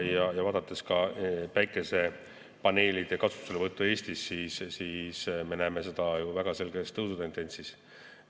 Ja kui vaadata ka päikesepaneelide kasutuselevõttu Eestis, siis me näeme seda ju väga selges tõusutendentsis.